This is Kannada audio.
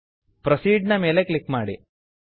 ಪ್ರೊಸೀಡ್ ಪ್ರೋಸೀಡ್ ನ ಮೇಲೆ ಕ್ಲಿಕ್ ಮಾಡಿ